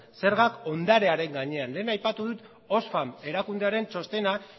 zergak ondarearen gainean lehen aipatu dut oxfam erakundearen txostenak